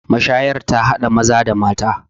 mashayar ta hada Maza da mata